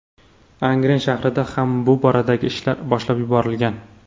Angren shahrida ham bu boradagi ishlar boshlab yuborilgan.